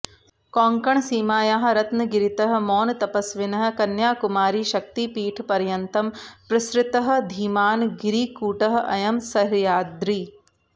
कोङ्कणसीमायाः रत्नगिरितः मौनतपस्विनः कन्याकुमारीशक्तिपीठपर्यन्तं प्रसृतः धीमान् गिरिकूटः अयं सह्याद्रिः